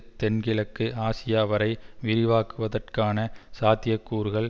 தென்கிழக்கு ஆசியா வரை விரிவாக்குவதற்கான சாத்திய கூறுகள்